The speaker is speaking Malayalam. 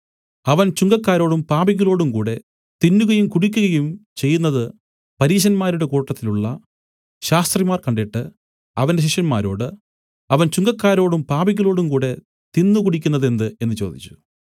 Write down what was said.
അവൻ ചുങ്കക്കാരോടും പാപികളോടും കൂടെ തിന്നുകയും കുടിക്കുകയും ചെയ്യുന്നതു പരീശന്മാരുടെ കൂട്ടത്തിലുള്ള ശാസ്ത്രിമാർ കണ്ടിട്ട് അവന്റെ ശിഷ്യന്മാരോട് അവൻ ചുങ്കക്കാരോടും പാപികളോടും കൂടെ തിന്നു കുടിക്കുന്നതെന്ത് എന്നു ചോദിച്ചു